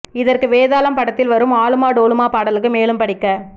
இதற்கு வேதாளம் படத்தில் வரும் ஆலுமா டோலுமா பாடலுக்கு மேலும் படிக்க